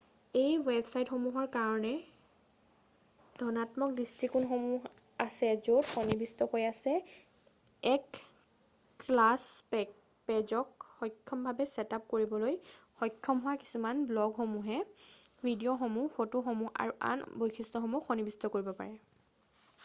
এই ৱেবছাইটসমূহৰ কাৰণে ধণাত্মক দৃষ্টিকোণসমূহ আছে য'ত সন্নিৱিষ্ট হৈ আছে এক ক্লাছ পেজক সহজভাৱে ছেটআপ কৰিবলৈ সক্ষম হোৱা যিয়ে ব্ল'গসমূহ ভিডিঅ'সমূহ ফটোসমূহ আৰু আন বৈশিষ্ট্যসমূহক সন্নিৱিষ্ট কৰিব পাৰে৷